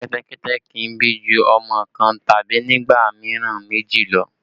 Kẹ́tẹ́kẹ́tẹ́ kì í bí ju ọmọ kan tàbí nígbà mìíràn méjì lọ